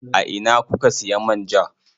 A ina kuka siya man ja?